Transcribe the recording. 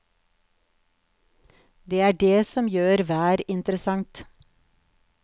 Det er det som gjør vær interessant.